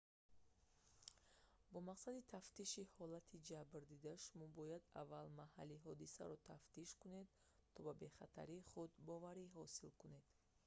бо мақсади тафтиши ҳолати ҷабрдида шумо бояд аввал маҳалли ҳодисаро тафтиш кунед то ба бехатарии худ боварӣ ҳосил кунед